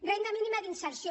renda mínima d’inserció